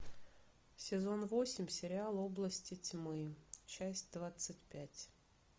сезон восемь сериал области тьмы часть двадцать пять